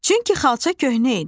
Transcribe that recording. Çünki xalça köhnə idi.